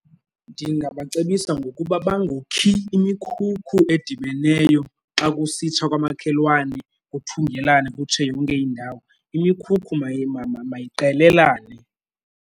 Ndingabacebisa ngokuba bangokhi emikhulu edibeneyo, xa kusitsha kwamakhelwane kuthungelane kutshe yonke indawo. Imikhukhu mayiqelelane.